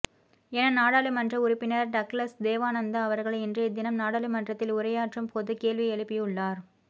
என நாடாளுமன்ற உறுப்பினர் டக்ளஸ் தேவானந்தா அவர்கள் இன்றைய தினம் நாடாளுமன்றத்தில் உரையாற்றும்போது கேள்வி எழுப்பியுள்ளார்